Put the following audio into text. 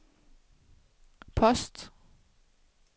post